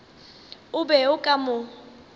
o be o ka mo